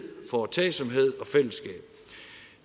foretagsomhed og fællesskab